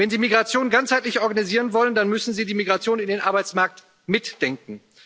Wenn Sie Migration ganzheitlich organisieren wollen, dann müssen Sie die Migration in den Arbeitsmarkt mitdenken.